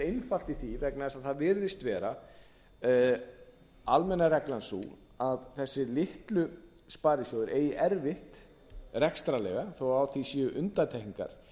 einfalt í því vegna þess að það virðist vera almenna reglan sú að þessir litlu sparisjóðir eigi erfitt rekstrarlega þó að á því séu undantekningar